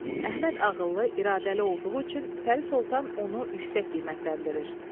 D. Əhməd ağıllı, iradəli olduğu üçün Pərsə Sultan onu yüksək qiymətləndirir.